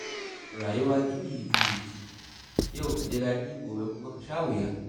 Rayuwa juyi-juyi ce, yau ka ji daɗi, gobe kuma ka sha wuya.